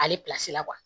Ale la